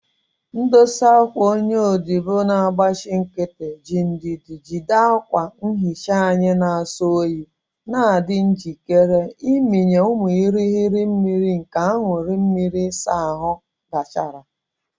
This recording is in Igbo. Ndosa akwa, onye odibo na-agbachi nkịtị, ji ndidi jide akwa nhicha anyị na-asọ oyi, na-adị njikere ịmịnye ụmụ irighiri mmiri nke aṅụrị mmiri ịsa ahụ gachara.